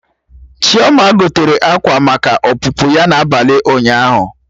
Chioma gotere akwa maka ọpụpụ ya n'abalị ụnyaahụ